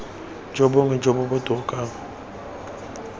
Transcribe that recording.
jo bongwe jo bo botoka